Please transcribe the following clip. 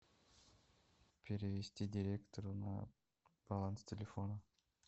перевести директору на баланс телефона